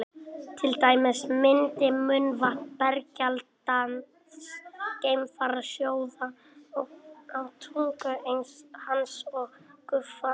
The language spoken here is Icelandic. til dæmis myndi munnvatn berskjaldaðs geimfara sjóða á tungu hans og gufa upp